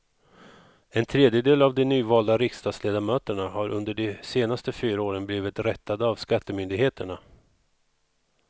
En tredjedel av de nyvalda riksdagsledamöterna har under de senaste fyra åren blivit rättade av skattemyndigheterna.